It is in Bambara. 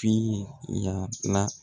pii ya la